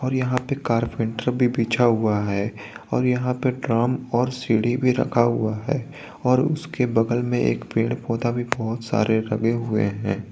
और यहां पर कारपेट बिछा हुआ है और यहां पर ड्रम और सीढ़ी भी रखा हुआ है और उसके बगल में एक पेड़ पौधा भी बहोत सारे लगे हुए हैं।